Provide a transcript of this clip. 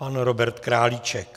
Pan Robert Králíček.